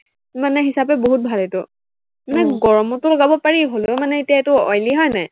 মানে হিচাপে বহুত ভাল এইটো। মানে গৰমতো লগাব পাৰি হলেও মানে এতিয়া এইটো oily হয় নাই